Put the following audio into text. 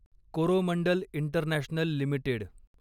Coromandel international limited